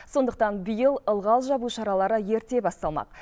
сондықтан биыл ылғал жабу шаралары ерте басталмақ